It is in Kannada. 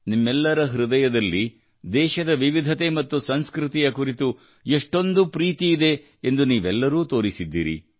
ನಿಮ್ಮೆಲ್ಲರ ಹೃದಯದಲ್ಲಿ ದೇಶದ ವಿವಿಧತೆ ಮತ್ತು ಸಂಸ್ಕೃತಿಯ ಕುರಿತು ಎಷ್ಟೊಂದು ಪ್ರೀತಿಯಿದೆ ಎಂದು ನೀವೆಲ್ಲರೂ ತೋರಿಸಿದ್ದೀರಿ